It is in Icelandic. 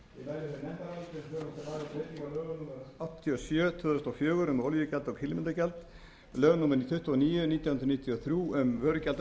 lögum númer áttatíu og sjö tvö þúsund og fjögur um olíugjald og kílómetragjald lögum númer tuttugu og níu nítján hundruð níutíu og þrjú um vörugjald af